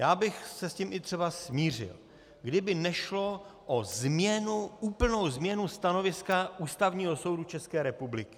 Já bych se s tím i třeba smířil, kdyby nešlo o změnu, úplnou změnu stanoviska Ústavního soudu České republiky.